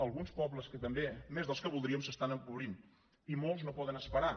alguns pobles també més dels que voldríem s’estan empobrint i molts no poden esperar